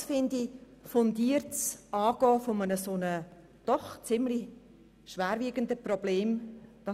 Dies ist aus meiner Sicht ein fundiertes Angehen eines solchen doch ziemlich schwerwiegenden Problems.